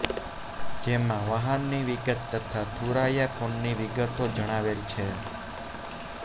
જેમાં વહાણની વિગત તથા થુરાયા ફોનની વિગતો જણાવેલ છે